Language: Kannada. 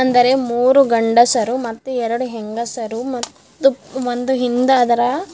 ಅಂದರೆ ಮೂರು ಗಂಡಸರು ಮತ್ತು ಎರಡು ಹೆಂಗಸರು ಮತ್ತು ಒಂದು ಹಿಂದ್ ಅದರ.